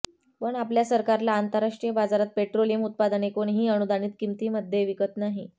पण आपल्या सरकारला आंतरराष्ट्रीय बाजारात पेट्रोलियम उत्पादने कोणीही अनुदानित किमतींमध्ये विकत नाही